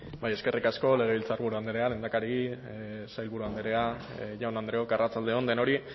eskerrik asko legebiltzarburu andrea lehendakari sailburu andrea jaun andreok arratsalde on denoi